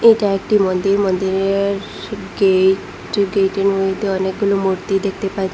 এটা একটি মন্দির মন্দিরের গেইট গেটের মইদ্যে অনেকগুলি মূর্তি দেখতে পাচ্চি।